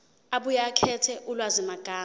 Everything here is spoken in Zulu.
abuye akhethe ulwazimagama